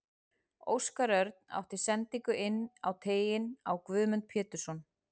Óskar Örn átti sendingu inn á teiginn á Guðmund Pétursson.